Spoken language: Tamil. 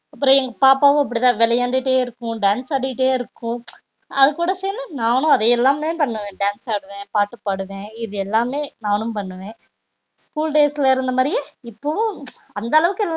அப்றம் எங்க பாப்பாவும் அப்டிதா விளையண்டுடே இருக்கும் dance ஆடிட்டே இருக்கும் அது கூட சேந்து நானும் அதா எல்லாமே பண்ணுவ dance ஆடுவ பாட்டு பாடுவ இது எல்லாமே நானும் பண்ணுவ school days ல இருந்தா மாதிரி இப்போவும் அந்த அளவுக்கு இல்லனாலும்